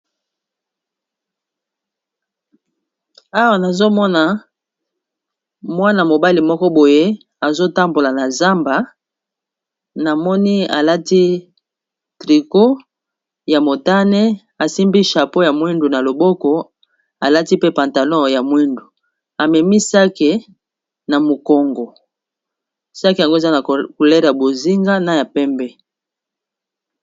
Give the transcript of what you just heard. awa nazomona mwana mobali moko boye azotambola na zamba na moni alati trico ya motane asimbi chapeau ya mwindu na loboko alati pe pantalon ya mwindu amemisake na mokongo sake yango eza na kulela bozinga na ya pembe